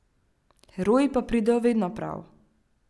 Heroji pa pridejo vedno prav.